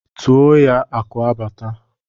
Tuo nụ ya akụ abata!